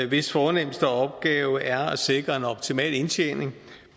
hvis fornemste opgave er at sikre en optimal indtjening